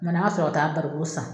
Nani an ŋa sɔrɔ ka taa bariko san.